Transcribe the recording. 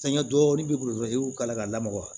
Fɛngɛ dɔɔnin b'i bolo dɔrɔn i b'u k'a la k'a lamaga